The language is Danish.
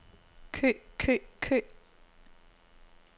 kø kø kø